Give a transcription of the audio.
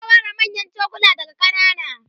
ta ware manyan chokulan daga kanana